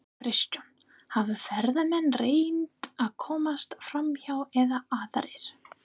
Kristján: Hafa ferðamenn reynt að komast framhjá eða aðrir?